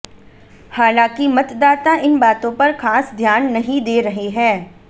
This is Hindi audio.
हालांकि मतदाता इन बातों पर खास ध्यान नहीं दे रहे हैं